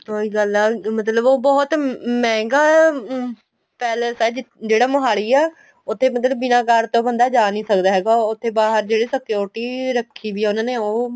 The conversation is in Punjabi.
ਔਹੀ ਗੱਲ ਆ ਮਤਲਬ ਬਹੁਤ ਮਹਿੰਗਾ ਅਹ palace ਆ ਜਿਹੜਾ ਮੋਹਾਲੀ ਆ ਉੱਥੇ ਬਿਨਾਂ card ਤੋ ਬੰਦਾ ਜਾ ਨਹੀਂ ਸਕਦਾ ਹੈਗਾ ਉੱਥੇ ਬਾਹਰ ਜਿਹੜੀ security ਰੱਖੀ ਹੋਈ ਆ ਉਹ